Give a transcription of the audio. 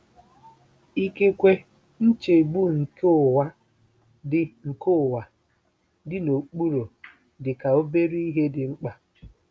Ikekwe nchegbu nke ụwa dị nke ụwa dị n'okpuru dị ka obere ihe dị mkpa.